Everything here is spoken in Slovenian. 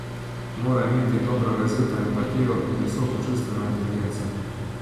Mora imeti dobro razvito empatijo in visoko čustveno inteligenco.